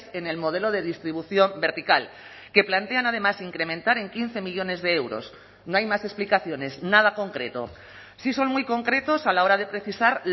en el modelo de distribución vertical que plantean además incrementar en quince millónes de euros no hay más explicaciones nada concreto sí son muy concretos a la hora de precisar